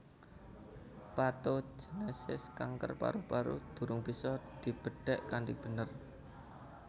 Patogenesis kanker paru paru durung bisa dibedhek kanthi bener